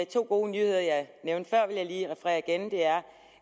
to gode nyheder jeg nævnte før vil jeg lige referere igen og det er